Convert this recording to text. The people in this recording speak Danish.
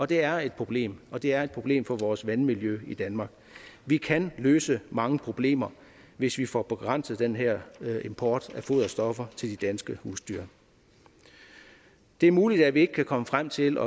det er et problem og det er et problem for vores vandmiljø i danmark vi kan løse mange problemer hvis vi får begrænset den her import af foderstoffer til de danske husdyr det er muligt at vi ikke kan komme frem til